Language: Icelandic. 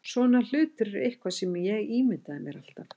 Svona hlutir eru eitthvað sem ég ímyndaði mér alltaf.